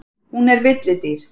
Hún er villidýr.